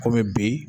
Kɔmi bi